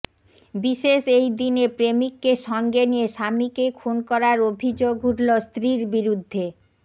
বিশেষ এই দিনে প্রেমিককে সঙ্গে নিয়ে স্বামীকে খুন করার অভিযোগ উঠল স্ত্রীর বিরুদ্ধে